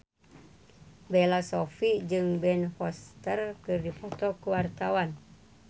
Bella Shofie jeung Ben Foster keur dipoto ku wartawan